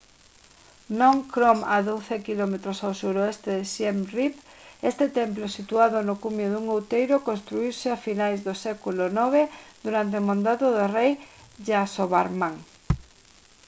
phnom krom a 12 km ao suroeste de siem reap este templo situado no cumio dun outeiro construíuse a finais do século ix durante o mandado do rei yasovarman